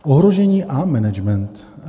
Ohrožení a management.